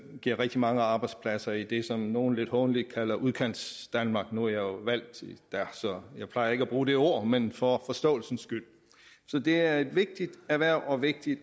giver rigtig mange arbejdspladser i det som nogle lidt hånligt kalder udkantsdanmark nu jo valgt der så jeg plejer ikke at bruge det ord men for forståelsens skyld så det er et vigtigt erhverv og vigtigt